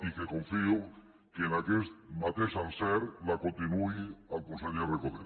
i que confio que amb aquest mateix encert la continuï el conseller recoder